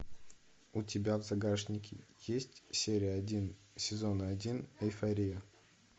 у тебя в загашнике есть серия один сезона один эйфория